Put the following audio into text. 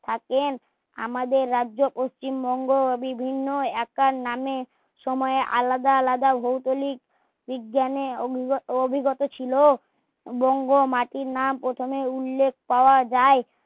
থাকেন আমাদের রাজ্য পশ্চিমবঙ্গ বিভিন্ন একটা নামে সময়ে আলাদা আলাদা ভৌগলিক বিজ্ঞানে অভি অভিজ্ঞত ছিলো বঙ্গ মাটির নাম প্রথমে উল্যেখ পাওয়া যায়